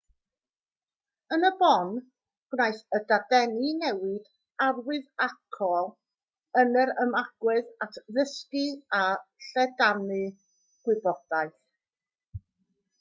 yn y bôn gwnaeth y dadeni newid arwyddocaol yn yr ymagwedd at ddysgu a lledaenu gwybodaeth